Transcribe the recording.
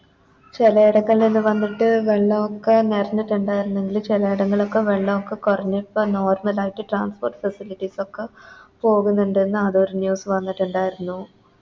ചിലേടക്കെല്ലാം വന്നിട്ട് വെള്ളൊക്കെ നെറഞ്ഞിട്ടുണ്ടാരുന്നുങ്കില് ചെലേടങ്ങളൊക്കെ വെള്ളൊക്കെ കൊറഞ്ഞിപ്പോ Normal ആയിട്ട് Transport facilities ഒക്കെ പോകുന്നുണ്ടെന്ന് അറിഞ്ഞ News വന്നിട്ടുണ്ടാരുന്നു